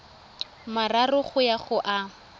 mararo go ya go a